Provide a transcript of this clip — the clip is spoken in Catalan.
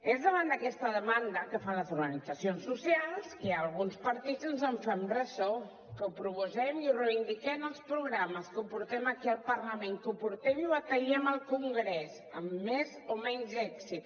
és davant d’aquesta demanda que fan les organitzacions socials que alguns partits ens en fem ressò que ho proposem i ho reivindiquem als programes que ho portem aquí al parlament que ho portem i ho batallem al congrés amb més o menys èxit